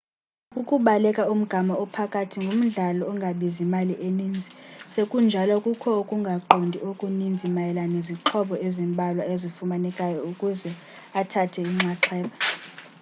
ukubaleka umgama ophakathi ngumdlalo ongabizi mali eninzi sekunjalo kukho ukungaqondi okuninzi mayela nezixhobo ezimbalwa ezifunekayo ukuze umntu athathe inxaxheba